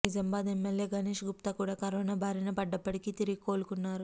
Nizamabad MLA Ganesh Gupta కూడా corona బారినపడ్డప్పటికీ తిరిగి కోలుకున్నారు